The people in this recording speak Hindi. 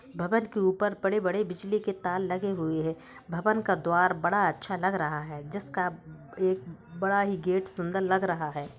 भवन के ऊपर बड़े-बड़े बिजली के तार लगे हुए हैं| भवन का द्वार बड़ा अच्छा लग रहा है जिसका एक बड़ा ही गेट सुंदर लग रहा है।